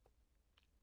TV 2